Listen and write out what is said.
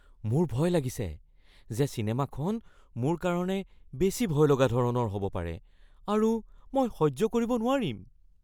মোৰ ভয় লাগিছে যে চিনেমাখন মোৰ কাৰণে বেছি ভয়লগা ধৰণৰ হ'ব পাৰে আৰু মই সহ্য কৰিব নোৱাৰিম।